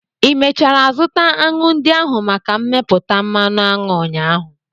Ị mechara zụta aṅụ ndị ahụ maka mmepụta mmanụ aṅụ ụnyaahụ?